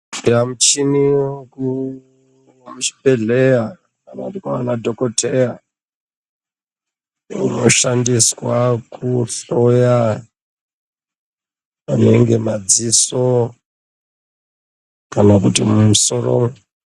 Muchini wemuchibhedleya kanakutiwana dhogodheya unoshandiswa kuhloya anenge madziso kana kuti mumusoro.